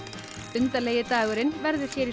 undarlegi dagurinn verður hér í